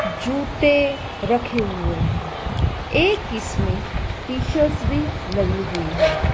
जूते रखे हुए हैं एक इसमें टी शर्ट्स भी लगी हुई है।